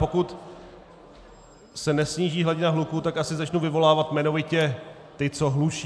Pokud se nesníží hladina hluku, tak asi začnu vyvolávat jmenovitě ty, co hlučí.